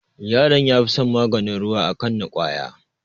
Yaron ya fi son maganin ruwa a kan na ƙwaya